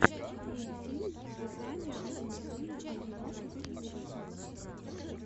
мультфильм вязания от ангелины озимок ютьюб